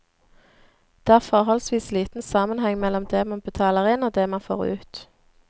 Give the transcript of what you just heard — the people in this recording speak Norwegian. Det er forholdsvis liten sammenheng mellom det man betaler inn og det man får ut.